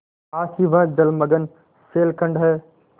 पास ही वह जलमग्न शैलखंड है